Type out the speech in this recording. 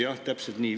Jah, täpselt nii.